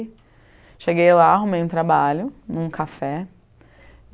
cheguei lá, arrumei um trabalho, em um café.